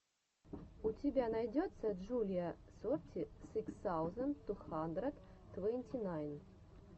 у тебя найдется джулиа сорти сыкс саузенд ту хандрэд твэнти найн